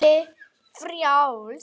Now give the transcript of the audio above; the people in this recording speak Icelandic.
Naflinn frjáls.